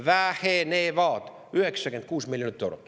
– vähenevad 96 miljonit eurot.